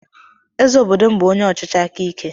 Eze obodo m bụ onye ọchịchị aka ike.